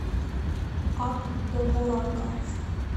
ак довурака